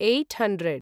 eight hundred